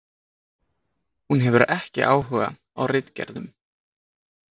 Hún hefur ekki áhuga á ritgerðum.